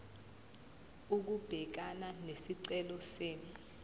ukubhekana nesicelo senu